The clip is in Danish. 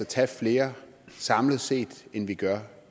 tage flere samlet set end vi gør